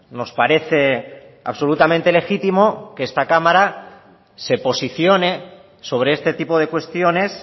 nos parece absolutamente legítimo que esta cámara se posicione sobre este tipo de cuestiones